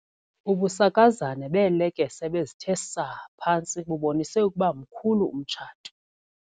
Ubusakazane beelekese ebezithe saa phantsi bubonise ukuba mkhulu umtshato.